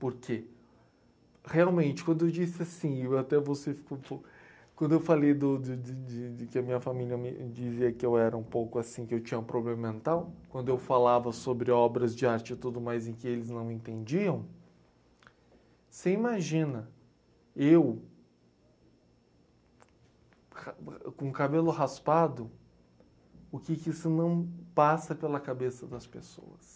Porque, realmente, quando eu disse assim, até você ficou um po... Quando eu falei do de de de que a minha família me dizia que eu era um pouco assim, que eu tinha um problema mental, quando eu falava sobre obras de arte e tudo mais em que eles não entendiam, você imagina eu, ha m, com o cabelo raspado, o que que isso não passa pela cabeça das pessoas?